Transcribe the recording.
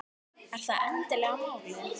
Er það endilega málið?